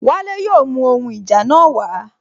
Wale yóò mú ohun ìjà náà wa